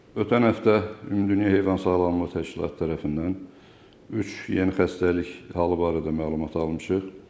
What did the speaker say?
Ötən həftə Ümumdünya Heyvan Sağlamlığı Təşkilatı tərəfindən üç yeni xəstəlik halı barədə məlumat almışıq.